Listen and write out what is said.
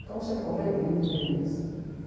Então, sempre comprei livro, revista.